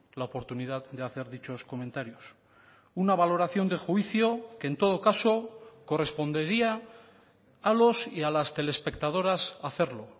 la oportunidad de hacer dichos comentarios una valoración de juicio que en todo caso correspondería a los y a las telespectadoras hacerlo